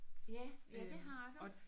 Ja ja det har du